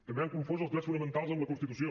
també han confós els drets fonamentals amb la constitució